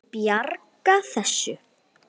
Ég bjarga þessu.